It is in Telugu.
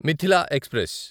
మిథిలా ఎక్స్ప్రెస్